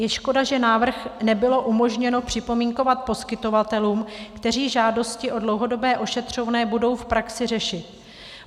Je škoda, že návrh nebylo umožněno připomínkovat poskytovatelům, kteří žádosti o dlouhodobé ošetřovné budou v praxi řešit.